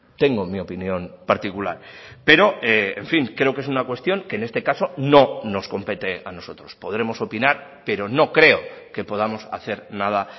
tengo mi opinión particular pero en fin creo que es una cuestión que en este caso no nos compete a nosotros podremos opinar pero no creo que podamos hacer nada